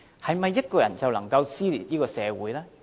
是否一個人就能夠撕裂這個社會呢？